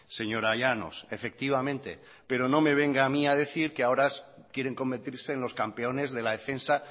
señora llanos efectivamente pero no me venga a mí a decir que ahora quieren convertirse en los campeones de la defensa